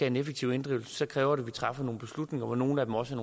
en effektiv inddrivelse kræver det at vi træffer nogle beslutninger hvor nogle af dem også